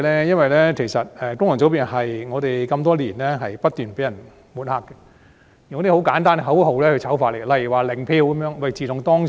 因為功能界別多年來不斷被抹黑，以一些簡單的口號如"零票"進行醜化。